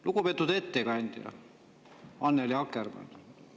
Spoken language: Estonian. Lugupeetud ettekandja Annely Akkermann!